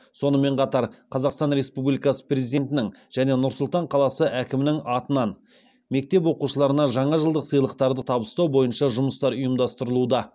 сонымен қатар қазақстан республикасы президентінің және нұр сұлтан қаласы әкімінің атынан мектеп оқушыларына жаңа жылдық сыйлықтарды табыстау бойынша жұмыстар ұйымдастырылуда